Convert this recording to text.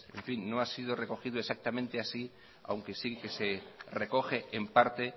no ha sido recogido exactamente así aunque sí que se recoge en parte